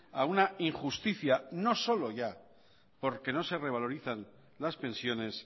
a una injusticia no solo ya porque no se revalorizan las pensiones